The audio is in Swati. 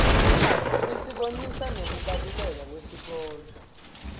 isibonisa nekubaluleka kwesikolo